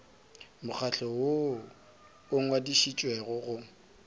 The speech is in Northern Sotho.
mokgatlo woo o ngwadišitšwego go